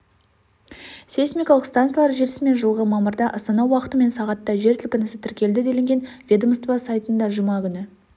сейсмикалық станциялар желісімен жылғы мамырда астана уақытымен сағатта жер сілкінісі тіркелді делінген ведомство сайтында жұма күні